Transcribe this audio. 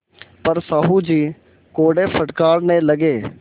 पर साहु जी कोड़े फटकारने लगे